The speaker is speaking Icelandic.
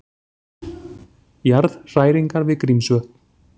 Jarðhræringar við Grímsvötn